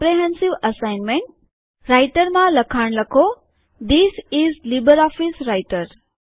comprehensive assignment રાઈટરમાં લખાણ લખો ધીઝ ઈઝ લીબરઓફીસ રાઈટર